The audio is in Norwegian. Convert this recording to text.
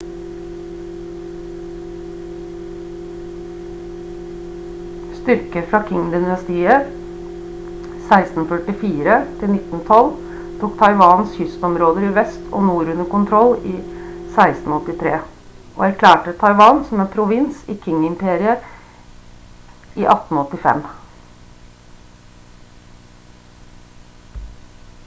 styrker fra qing-dynastiet 1644-1912 tok taiwans kystområder i vest og nord under kontroll i 1683 og erklærte taiwan som en provins i qing-imperiet i 1885